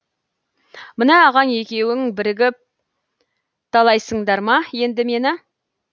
мына ағаң екеуің бірігіп талайсыңдар ма енді мені